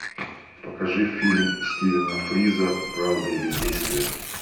покажи фильм стивена фриза правда или действие